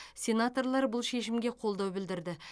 сенаторлар бұл шешімге қолдау білдірді